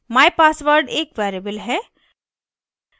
mypassword एक variable है